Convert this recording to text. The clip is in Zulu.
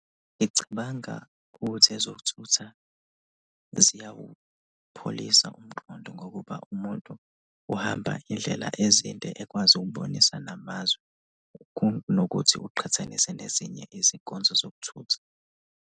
Ngicabanga ukuthi ezokuthutha ziyawupholisa umqondo ngokuba umuntu uhamba indlela ezinde ekwazi ukubonisa namazwe kunokuthi uqhathanise nezinye izinkonzo zokuthutha.